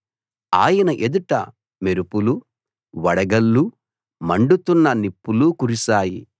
ఆయన ఎదుట మెరుపులు వడగళ్ళు మండుతున్న నిప్పులు కురిసాయి